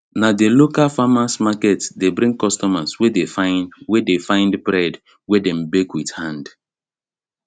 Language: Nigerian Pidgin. na the local farmers market dey bring customers wey dey find wey dey find bread wey them bake with hand